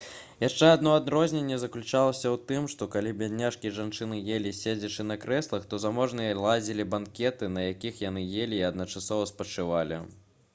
яшчэ адно адрозненне заключалася ў тым што калі беднякі і жанчыны елі седзячы на крэслах то заможныя ладзілі банкеты на якіх яны елі і адначасова спачывалі